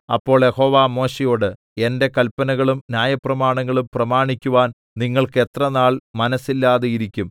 അപ്പോൾ യഹോവ മോശെയോട് എന്റെ കല്പനകളും ന്യായപ്രമാണങ്ങളും പ്രമാണിക്കുവാൻ നിങ്ങൾക്ക് എത്ര നാൾ മനസ്സില്ലാതെയിരിക്കും